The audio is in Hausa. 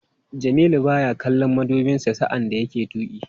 Jamilu baya kallon madubinsa sa'an da yake tuki.